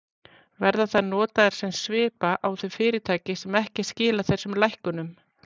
Verða þær notaðar sem svipa á þau fyrirtæki sem ekki skila þessum lækkunum?